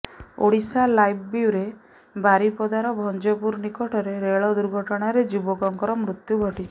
Odisha live bureau ବାରିପଦାର ଭଞ୍ଜପୁର ନିକଟରେ ରେଳ ଦୁର୍ଘଟଣାରେ ଯୁବକଙ୍କର ମୃତ୍ୟୁ ଘଟିଛି